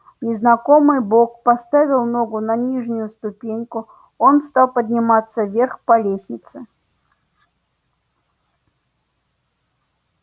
незнакомый бог поставил ногу на нижнюю ступеньку он стал подниматься вверх по лестнице